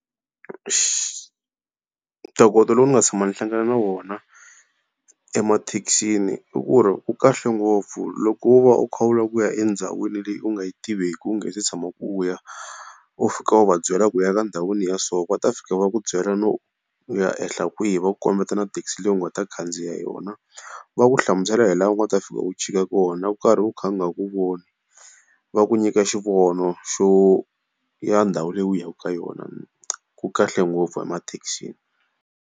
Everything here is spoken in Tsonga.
tokoto lowu ni nga tshama ni hlangana na wona emathekisini i ku ri wu kahle ngopfu. Loko wo va u kha wu lava ku ya endhawini leyi u nga yi tiveki u nge se tshamaka u ya, u fika u va byela ku u ya ka ndhawini ya so. Va ta fika va ku byela no u ya yehla kwihi, va ku kombeta na thekisi leyi u nga ta khandziya yona, va ku hlamusela hilaha u nga ta fika u chika kona u karhi u kha u nga ku voni. Va ku nyika xivono xa ndhawu leyi u yaka ka yona ku kahle ngopfu emathekisini.